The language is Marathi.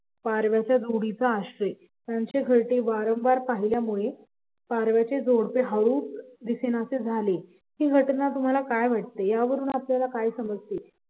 पारव्याच्या जोडीचा आश्रयत्यांच्याकडे वारंवार पाहिल्यामुळे पारव्याची जोडपं हळूच दिसेनासं झालं हि घटना तुमाला काय वाटतंय या वरून आपल्याला काय समजतंय